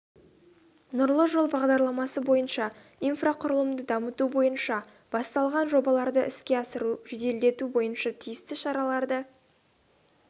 нұрлы жол бағдарламасы бойынша инфрақұрылымды дамыту бойынша басталған жобаларды іске асыруды жеделдету бойынша тиісті шараларды